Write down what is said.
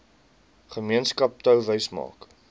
gemeenskap touwys maak